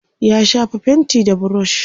ya shafa fainti da burush